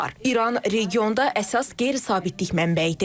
İran regionda əsas qeyri-sabitlik mənbəyidir.